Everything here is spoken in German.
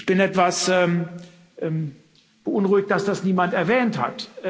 Ich bin etwas beunruhigt, dass das niemand erwähnt hat.